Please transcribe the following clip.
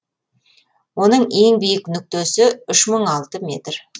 оның ең биік нүктесі үш мың алты метр